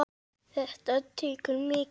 Þetta tekur mikið á.